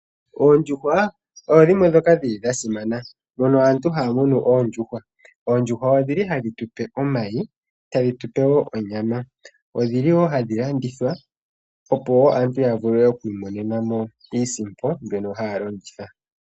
Oondjuhwa odho dhimwe ndhoka dhili dha simana , mono aantu haya munu oondjuhwa. Oondjuhwa odhili hadhi tupe omayi, tadhi tupe wo onyama. Odhi li wo hadhi landithwa opo wo aantu ya vule okwoopalekamo iisimpo, mbyono hayi longithwa.